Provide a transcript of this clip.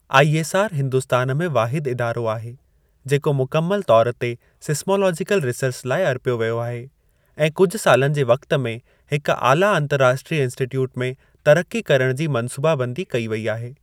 ISR Hindustan में वाहिद इदारो आहे जेको मुकमिल तौरु ते सीसमोलोजीकल रीसर्च लाइ अर्पियो वियो आहे ऐं कुझु सालनि जे वक़्त में हिक आला अंतर्राष्ट्रीय इंस्टिट्यूट में तरिक़ी करणु जी मंसूबाबंदी कई वेई आहे।